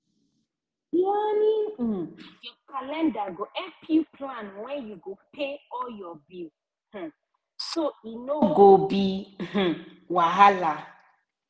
planning um your calender go help you plan when you go pay all your bill um so e no go um be wahala.